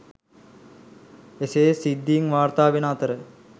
එසේ සිද්ධීන් වාර්තා වෙන අතර